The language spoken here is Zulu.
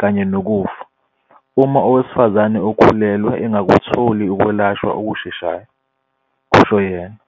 kanye nokufa, uma owesifazane okhulelwe engakutholi ukwelashwa okusheshayo," kusho yena.